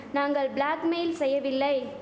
நாங்கள் blackmail செய்யவில்லை